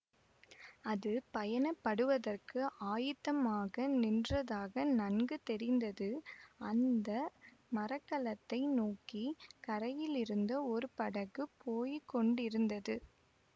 அது பயணப்படுவதற்கு ஆயத்தமாக நின்றதாக நன்கு தெரிந்தது அந்த மரக்கலத்தை நோக்கி கரையிலிருந்து ஒரு படகு போய் கொண்டிருந்தது